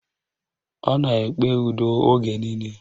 Ọ na-ekpe udo oge niile